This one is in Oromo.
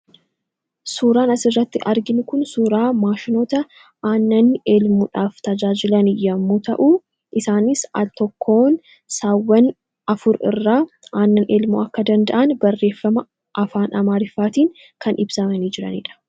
suuraan as irratti argin kun suuraa maashinota aannanni eelmuudhaaf tajaajilani yommuu ta'uu isaanis altokkoon saawwan afuur irraa aannan eelmuu akka danda'an barreeffama afaan amaariffaatiin kan ibsamanii jiraniidha